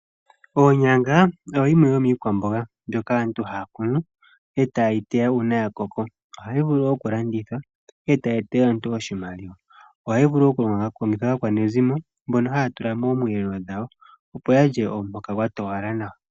Oonyanga oyo yimwe yomiikwamboga mbyoka aantu haa kunu eta yii teya una ya koko. Ohayi vulu wo oku landithwa eta yi etele aantu oshimaliwa. Oha yi vulu wo oku longithwa kaakwanezimo mbono ha tula moomwelelo dhawo opo yalye omuhoka gwa towala nawa.